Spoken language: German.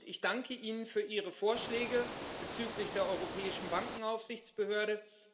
Ich danke Ihnen für Ihre Vorschläge bezüglich der Europäischen Bankenaufsichtsbehörde.